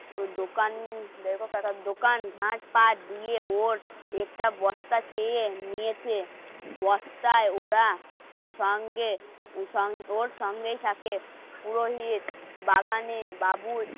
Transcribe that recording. দোকান দেখো একটা দোকান ভাটপাট দিয়ে ওর পেটটা বস্তা খেয়ে নিয়েছে বস্তায় ওরা সঙ্গে সঙ্গে ওর সঙ্গেই থাকে পুরোহিত. বাগানে, বাবুত